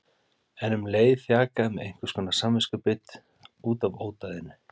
En um leið þjakaði mig einhverskonar samviskubit út af ódæðinu.